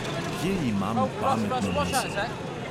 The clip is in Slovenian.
Kje imam pametno misel?